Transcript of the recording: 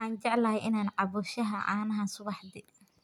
Waxaan jeclahay in aan cabbo shaaha caanaha subaxdii.